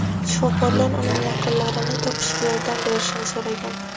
Shifokorlar uning yaqinlarini topishga yordam berishni so‘ragan.